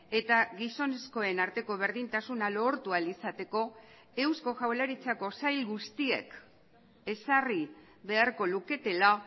eta gizonezkoen arteko berdintasuna lortu ahal izateko eusko jaurlaritzako sail guztiek ezarri beharko luketela